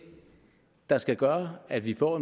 der skal gøre at vi får